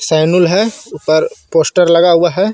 सेनुल हे ऊपर पोस्टर लगा हुआ हे.